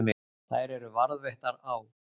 Þær eru varðveittar á